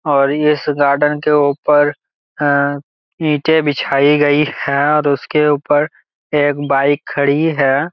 और इस गार्डन के ऊपर ह इटे बिछाई गई है और उसके ऊपर एक बाइक खड़ी है।